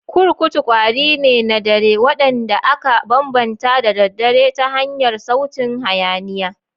kurkutu kwari ne na dare, wanda aka bambanta da daddare ta hanyar sautin hayaniya.